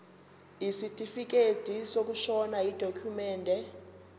isitifikedi sokushona yidokhumende